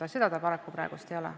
Aga praegu see paraku nii ei ole.